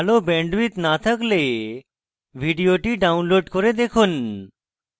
ভাল bandwidth না থাকলে ভিডিওটি download করে দেখুন